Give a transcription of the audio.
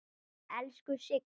Elsku Sigga.